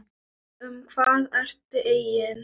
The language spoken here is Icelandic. Um hvað ertu eigin